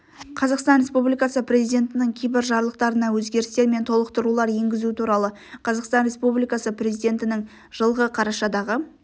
қазақстан республикасы президентінің кейбір жарлықтарына өзгерістер мен толықтырулар енгізу туралы қазақстан республикасы президентінің жылғы қарашадағы